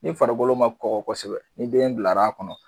Ni farikolo ma kɔkɔ kosɛbɛ ni den bilala a kɔnɔ.